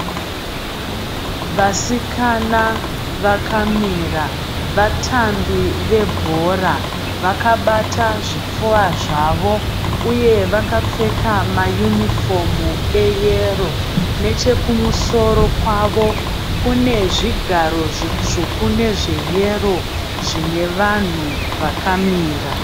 Vasikana vakamira, vatambi vebhora vakabata zvipfuva zvavo uye vakapfeka mayunifomu eyero. Nechekumusoro kwavo kunezvigaro zvitsvuku nezveyero zvinevanhu vakamira.